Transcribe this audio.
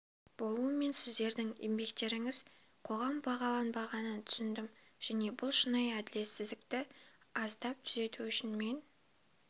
болу мен сіздердің еңбектеріңіз қоғам бағаланбағанын түсіндім және бұл шынайы әділетсіздікті аздап түзету үшін мен